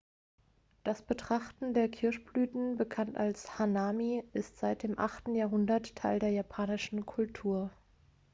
das betrachten der kirschblüten bekannt als hanami ist seit dem 8. jahrhundert teil der japanischen kultur